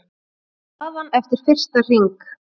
Staðan eftir fyrsta hring